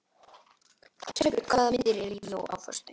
Sæbjörn, hvaða myndir eru í bíó á föstudaginn?